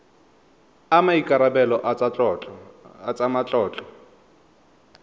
a maikarebelo a tsa matlotlo